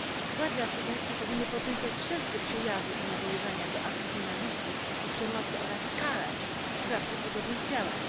Władze afrykańskie powinny potępiać wszelkie przejawy i nawoływania do aktów nienawiści i przemocy oraz karać sprawców podobnych działań.